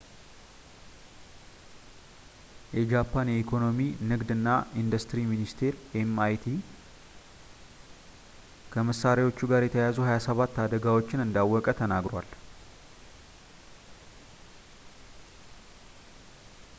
የጃፓን የኢኮኖሚ፣ ንግድ እና ኢንዱስትሪ ሚኒስትር ኤምኢቲአይ ከመሳሪያዎቹ ጋር የተያያዙ 27 አደጋዎችን እንዳወቀ ተናግሯል